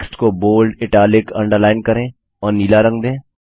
text को bold italic underline करें और नीला रंग दें